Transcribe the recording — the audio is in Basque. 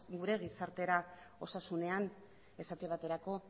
gure gizartera osasunean esate baterako